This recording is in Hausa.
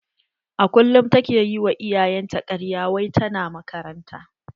A kullum ta ke yi wa iyayen ta karya wai ta na makaranta.